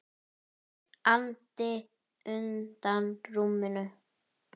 andi undan rúminu.